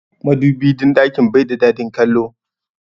Madubin ɗakin bai da dadin kallo.